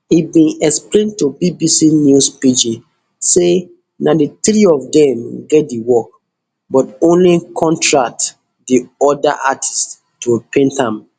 e bin explian to bbc news pidgin say na di three of dem get di work but only contract di oda artists to paint am